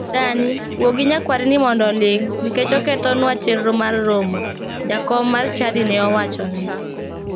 " Dani, wuo gi nyakwarini mondo oling' nikech okethonua chenro mar romo" jakom mar chadi ne owachone.